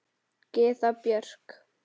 Gyða Björk.